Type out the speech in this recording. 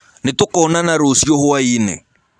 Nĩtũkonana rũcĩũ hwainĩ.